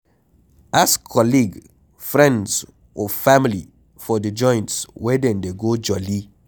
Ask colleague, friends or family for di joints wey dem dey go jolli